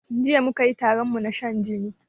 Jiya mukayi taronmu na shan jini